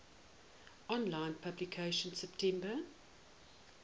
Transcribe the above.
online publication september